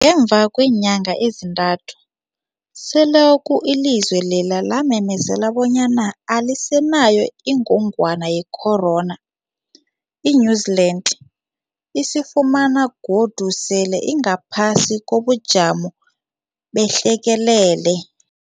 Ngemva kweenyanga ezintathu selokhu ilizwe lela lamemezela bonyana alisenayo ingogwana ye-corona, i-New-Zealand izifumana godu sele ingaphasi kobujamo behlekelele.